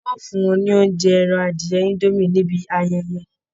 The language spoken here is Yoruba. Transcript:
Á ó fún wọn ní oúnjẹ ẹran adìyẹ indomie níbi ayẹyẹ